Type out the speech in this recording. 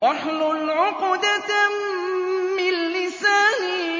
وَاحْلُلْ عُقْدَةً مِّن لِّسَانِي